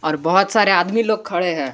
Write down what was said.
और बहोत सारे आदमी लोग खड़े हैं।